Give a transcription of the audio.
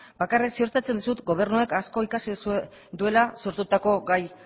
bakarrik ziurtatzen dizut gobernuak asko ikasi duela sortutako gai